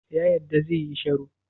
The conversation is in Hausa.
Ya yarda zai yi sharo?